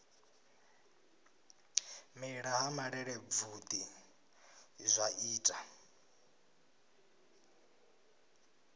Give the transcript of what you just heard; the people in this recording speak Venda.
mela ha malelebvudzi zwa ita